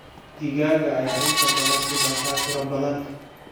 Digaagga ayaa inta badan ku dhasha tiro badan.